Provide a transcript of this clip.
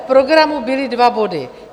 V programu byly dva body.